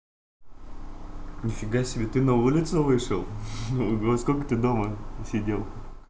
нифига себе ты на улицу вышел ого сколько ты дома сидел